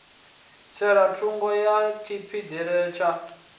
tsela thungo ya phiphiḓi bele